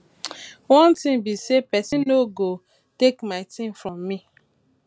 one thing be say person no go take my thing from me